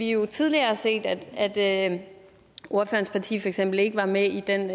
jo tidligere set at ordførerens parti for eksempel ikke var med i den